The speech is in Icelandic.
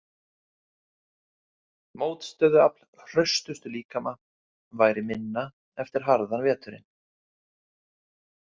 Mótstöðuafl hraustustu líkama væri minna eftir harðan veturinn.